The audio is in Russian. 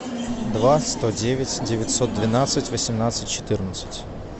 два сто девять девятьсот двенадцать восемнадцать четырнадцать